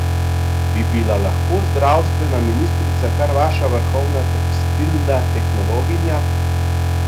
Bi bila lahko zdravstvena ministrica kar naša vrhovna tekstilna tehnologinja?